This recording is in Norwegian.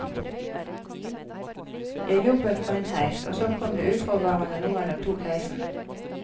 Jeg jobbet på en heis, og så kom det uforvarende noen og tok heisen.